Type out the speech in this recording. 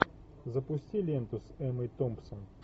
запусти ленту с эммой томпсон